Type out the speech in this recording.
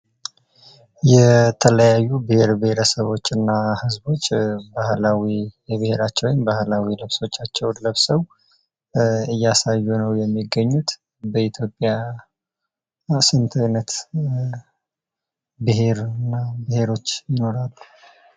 የተለያዩ ብሄር ብሄረሰቦች እና ህዝቦች የብሄራቸውን ባህላዊ ልብሶቻቸውን ለብሰው እያሳዩ ነው የሚግገኙት። በኢትዮጲያ ስንት ብሄር እና ብሄረሰቦች ይኖራሉ?